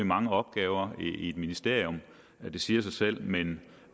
mange opgaver i et ministerium det siger sig selv men